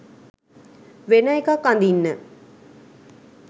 වෙන එකක් අඳින්න.